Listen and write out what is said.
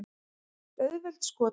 Auðveld skotmörk.